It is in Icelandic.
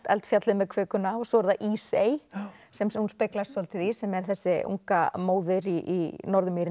eldfjallið með kökuna og svo er það Ísey sem hún speglast svolítið í sem er þessi unga móðir í